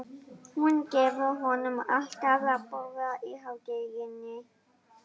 Hún gefur honum alltaf að borða í hádeginu.